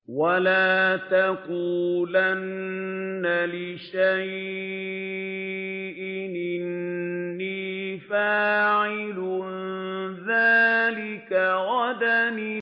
وَلَا تَقُولَنَّ لِشَيْءٍ إِنِّي فَاعِلٌ ذَٰلِكَ غَدًا